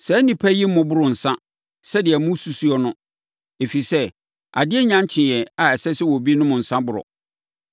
Saa nnipa yi mmoboroo nsã sɛdeɛ mosusu no, ɛfiri sɛ, adeɛ nnya nkyee a ɛsɛ sɛ obi nom nsã boro.